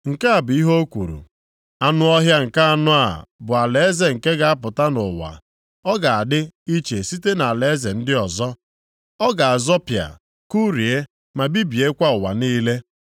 “Nke a bụ ihe o kwuru: ‘Anụ ọhịa nke anọ a bụ alaeze nke ga-apụta nʼụwa. Ọ ga-adị iche site nʼalaeze ndị ọzọ. Ọ ga-azọpịa, kụrie, ma bibiekwa ụwa niile.